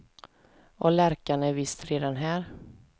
Och lärkan är visst redan här.